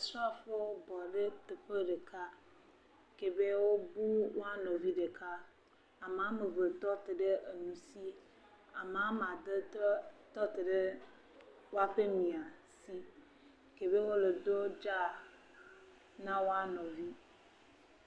Srafowo bɔ ɖe teƒe ɖeka ke be wobu woa nɔvi ɖeka. Ame am eve tɔ te ɖe nu si, ame woame ade tɔ te ɖe woaƒe miãsi ke be wole do dzáa na woa nɔvi.